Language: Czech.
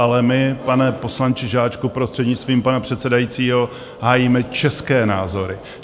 Ale my, pane poslanče Žáčku, prostřednictvím pana předsedajícího, hájíme české názory.